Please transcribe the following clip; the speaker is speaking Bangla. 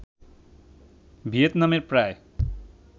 ভিয়েতনামের প্রায়